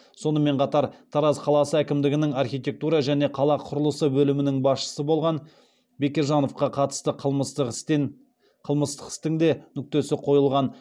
сонымен қатар тараз қаласы әкімдігінің архитектура және қала құрылысы бөлімінің басшысы болған бекежановқа қатысты қылмыстық істің де нүктесі қойылған